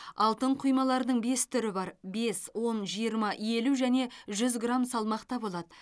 алтын құймалардың бес түрі бар бес он жиырма елу және жүз грамм салмақта болады